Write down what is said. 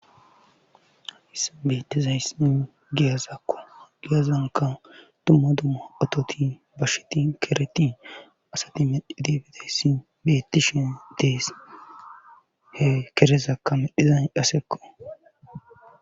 issa betizaysin giyazakko giyazanka dumma dumma atoti basheti, kereti,asati medhidi bideyssi beettishen dees. he kerezakka medhizan dhasekko.